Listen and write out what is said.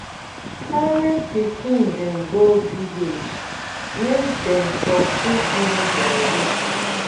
carry pikin dem go village make dem for fit know their root